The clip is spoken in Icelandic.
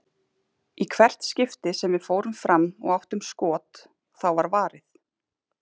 Í hvert skipti sem við fórum fram og áttum skot, þá var varið.